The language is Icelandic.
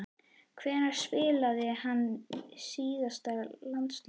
Hvenær spilaði hann síðast landsleik?